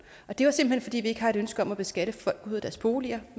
det var simpelt hen fordi vi ikke har et ønske om at beskatte folk ud af deres boliger